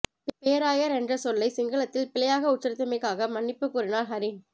பேராயர் என்ற சொல்லை சிங்களத்தில் பிழையாக உச்சரித்தமைக்காக மன்னிப்பு கோரினார் ஹரீன்